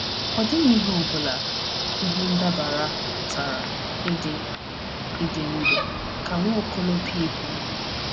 “Ọ dịghị ihe ọ bụla, ihe ndabara pụtara ịdị ịdị ndụ,” ka Nwaokolo P kwuru.